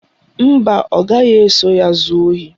Mba, ọ gaghị eso ya zuo ohi